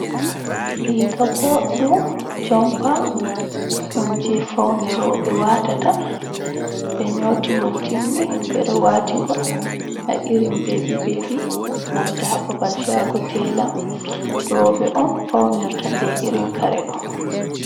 Riga ɓoɗɗum jompa ɗum je faune roɓe watata, ɓe nyotigol timmi ɓe ɗo watigol ha irin bebi bebi nanta ha babal shago tela, roɓɓe on faunirta be irin kare ɗo.